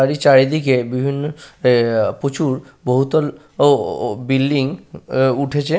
তার এই চারিদিকে বিভিন্ন এ-এ প্রচুর বহুতল ও ও বিল্ডিং এ উঠেছে।